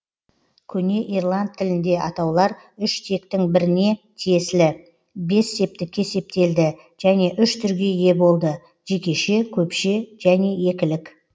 көне ирланд тілінде атаулар үш тектің біріне тиесілі бес септікке септелді және үш түрге ие болды жекеше көпше және екілік